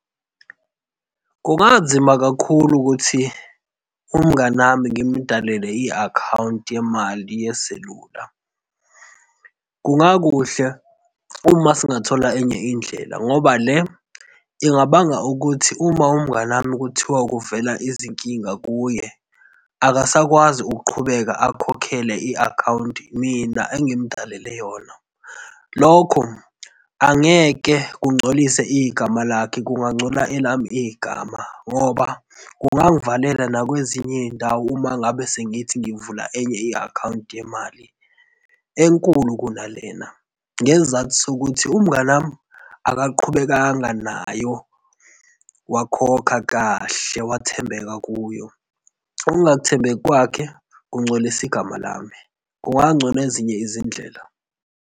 Kubanzima kakhulu ukuthi umngani wami ngimdalele i-akhawunti yemali yeselula. Kunga kuhle uma singathola enye indlela ngoba le ingabanga ukuthi uma umngani wami kuthiwa kuvela izinkinga kuye akasakwazi ukuqhubeka akhokhele i-akhawunti mina engimdalele yona. Lokho angeke kungcolise igama lakhe, kungcola elami igama ngoba kungangivalela nakwezinye izindawo uma ngabe sengithi ngivula enye i-akhawunti yemali enkulu kunalena, ngesizathu sokuthi umngani wami akaqhubekanga nayo wakhokha kahle wathembeka kuyo. Ukungathembeki kwakhe kungcolisa igama lami. Kungangcono ezinye izindlela.